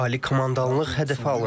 Ali komandanlıq hədəfə alındı.